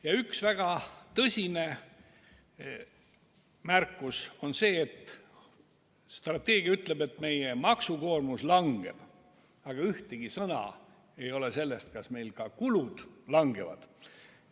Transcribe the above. Ja üks väga tõsine märkus on see, et strateegia ütleb, et meie maksukoormus kahaneb, aga ühtegi sõna ei ole selle kohta, kas meil ka kulud kahanevad.